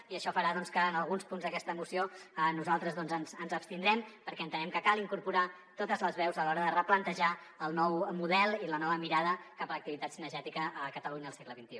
i això farà doncs que en alguns punts d’aquesta moció nosaltres ens hi abstindrem perquè entenem que cal incorporar to·tes les veus a l’hora de replantejar el nou model i la nova mirada cap a l’activitat ci·negètica a catalunya al segle xxi